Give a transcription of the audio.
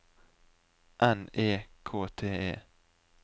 N E K T E